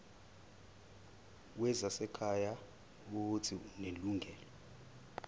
wezasekhaya uuthi unelungelo